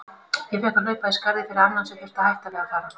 Ég fékk að hlaupa í skarðið fyrir annan sem þurfti að hætta við að fara.